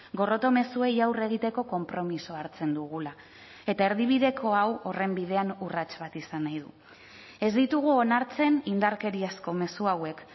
gorroto mezuei aurre egiteko konpromisoa hartzen dugula eta erdibideko hau horren bidean urrats bat izan nahi du ez ditugu onartzen indarkeriazko mezu hauek